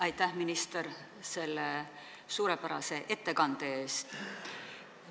Aitäh, minister, selle suurepärase ettekande eest!